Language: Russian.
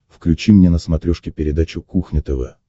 включи мне на смотрешке передачу кухня тв